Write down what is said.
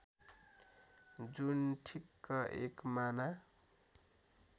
जुन ठिक्क एकमाना